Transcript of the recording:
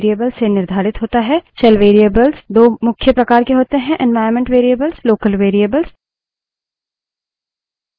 shell variables दो मुख्य प्रकार के होते हैं